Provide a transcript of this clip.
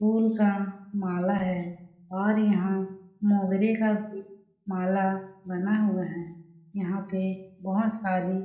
फूल का माला है और यहाँ मोंगरे का भी माला बना हुआ है यहाँ पे बहोत सारी --